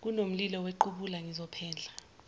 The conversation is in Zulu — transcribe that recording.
kunomlilo wequbula ngizophendla